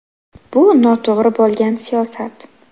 Bu – noto‘g‘ri bo‘lgan siyosat .